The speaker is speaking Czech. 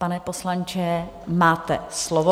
Pane poslanče, máte slovo.